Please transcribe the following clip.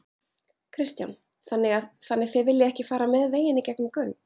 Kristján: Þannig þið viljið ekki fara með veginn í gegnum göng?